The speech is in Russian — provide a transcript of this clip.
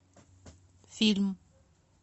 фильм